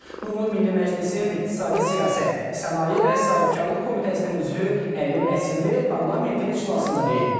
Bunu Milli Məclisin İqtisadi Siyasət, Sənaye və Sahibkarlıq Komitəsinin üzvü Əli Məsimli parlamentin iclasında deyib.